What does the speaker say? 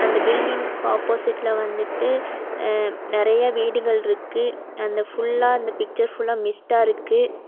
அந்த பில்டிங் ஆப்போசிட்ல வந்துட்டு அ நெறைய வீடுகள்ருக்கு அந்த ஃபுல்லா அந்த பிச்சர் ஃபுல்லா மிஸ்ட்டா இருக்கு.